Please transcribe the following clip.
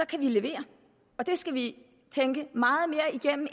kan levere det skal vi tænke meget mere igennem